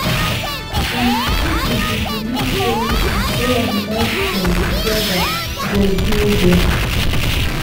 some people dey belief sey na prayer and medicine together go heal them.